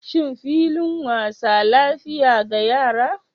Shin filin wasa lafiya ga yara?